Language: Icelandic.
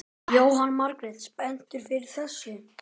Jóhanna Margrét: Spenntur fyrir þessu?